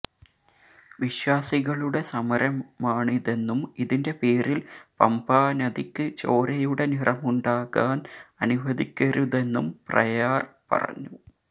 വിശ്വാസികളുടെ സമരമാണിതെന്നും ഇതിന്റെ പേരിൽ പമ്പാ നദിക്ക് ചോരയുടെ നിറമുണ്ടാകാൻ അനുവദിക്കരുതെന്നും പ്രയാർ പറഞ്ഞു